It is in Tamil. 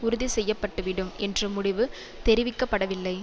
உறுதி செய்யப்பட்டுவிடும் என்ற முடிவு தெரிவிக்க படவில்லை